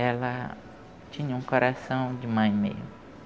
Ela tinha um coração de mãe mesmo.